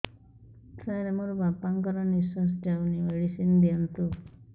ସାର ମୋର ବାପା ଙ୍କର ନିଃଶ୍ବାସ ଯାଉନି ମେଡିସିନ ଦିଅନ୍ତୁ